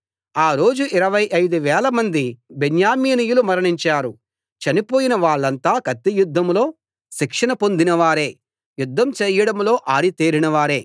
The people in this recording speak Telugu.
ఆ రోజు ఇరవై ఐదు వేలమంది బెన్యామీనీయులు మరణించారు చనిపోయిన వాళ్ళంతా కత్తియుద్ధంలో శిక్షణ పొందినవారే యుద్ధం చేయడంలో ఆరితేరినవారే